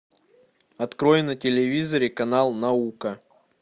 открой на телевизоре канал наука